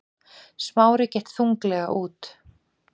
Smári gekk þunglega út.